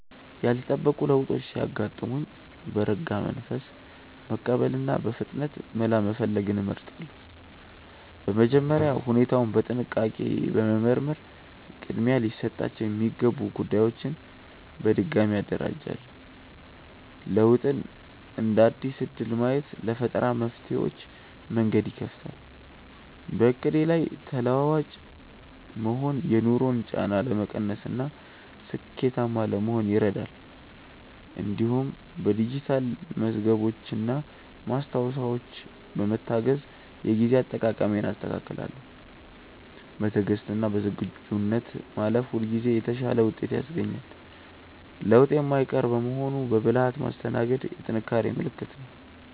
ያልተጠበቁ ለውጦች ሲያጋጥሙኝ በረጋ መንፈስ መቀበልንና በፍጥነት መላ መፈለግን እመርጣለሁ። በመጀመሪያ ሁኔታውን በጥንቃቄ በመመርመር ቅድሚያ ሊሰጣቸው የሚገቡ ጉዳዮችን በድጋሚ አደራጃለሁ። ለውጥን እንደ አዲስ እድል ማየት ለፈጠራ መፍትሄዎች መንገድ ይከፍታል። በዕቅዴ ላይ ተለዋዋጭ መሆን የኑሮን ጫና ለመቀነስና ስኬታማ ለመሆን ይረዳል። እንዲሁም በዲጂታል መዝገቦችና ማስታወሻዎች በመታገዝ የጊዜ አጠቃቀሜን አስተካክላለሁ። በትዕግስትና በዝግጁነት ማለፍ ሁልጊዜ የተሻለ ውጤት ያስገኛል። ለውጥ የማይቀር በመሆኑ በብልሃት ማስተናገድ የጥንካሬ ምልክት ነው።